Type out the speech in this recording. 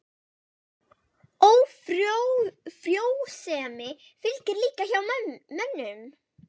Ófrjósemi fylgir líka hjá mönnum.